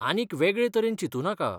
आनीक वेगळें तरेन चिंतू नाका.